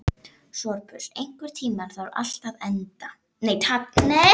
Sophus, einhvern tímann þarf allt að taka enda.